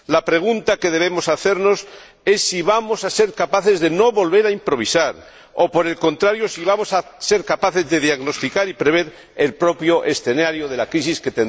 La pregunta que debemos hacernos es si vamos a ser capaces de no volver a improvisar o, por el contrario, si vamos a ser capaces de diagnosticar y prever el propio escenario de la crisis que tendrá dimensión social.